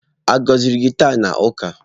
A gọziri gị taa na ụka?